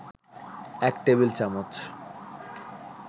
এক টেবিল চামচ